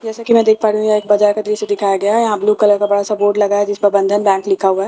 जैसा कि मैं देख पा रही हूं यहां एक बाजार का दृश्य दिखाया गया है यहां एक ब्लू कलर का बड़ा सा बोर्ड लगा है जिसमें बंधन बैंक लिखा हुआ है।